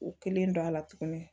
U kelen don a la tuguni